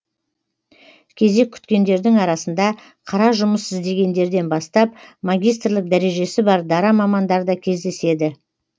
кезек күткендердің арасында қара жұмыс іздегендерден бастап магистрлік дәрежесі бар дара мамандар да кездеседі